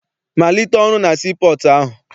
Malite ọrụ na sii pọọtụ ahụ!